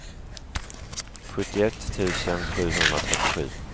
sjuttioett tusen sjuhundratrettiosju